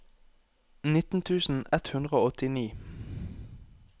nitten tusen ett hundre og åttini